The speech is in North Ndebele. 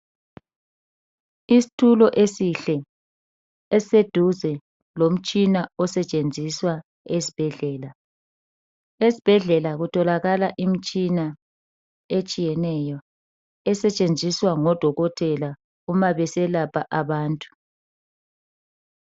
Isitulo esihle, esiseduze lomtshina osetshenziswa esibhedlela. Esbhedlela kutholakala imtshina etshiyeneyo esetshenziswa ngodokotela uma beselapha abantu.